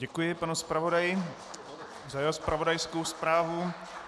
Děkuji panu zpravodaji za jeho zpravodajskou zprávu.